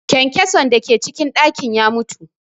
Kyankyason da ke cikin ɗakin ya mutu